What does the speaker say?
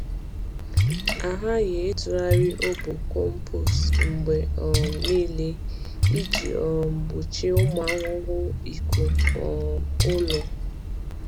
A ghaghị ịtụgharị obo compost mgbe um niile iji um gbochie ụmụ ahụhụ ịkụ um ụlọ.